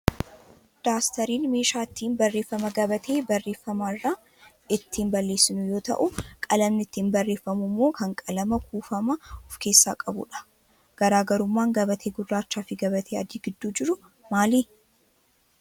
Daastariin meeshaa ittiin barreeffama gabatee barreeffamaa irraa ittiin balleesinu yoo ta'u, qalamni ittiin barreeffamu immoo kan qalama kuufamaa of keessaa qabudha. Garaagarummaan gabatee gurraachaa fi gabatee adii gidduu jiru maali?